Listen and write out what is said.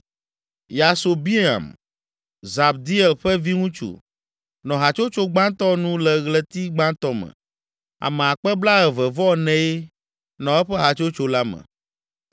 Yasobeam, Zabdiel ƒe viŋutsu, nɔ hatsotso gbãtɔ nu le ɣleti gbãtɔ me. Ame akpe blaeve-vɔ-enee (24,000) nɔ eƒe hatsotso la me.